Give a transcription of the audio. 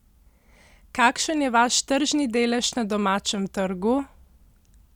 Kakšen je vaš tržni delež na domačem trgu?